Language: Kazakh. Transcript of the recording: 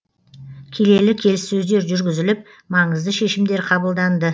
келелі келіссөздер жүргізіліп маңызды шешімдер қабылданды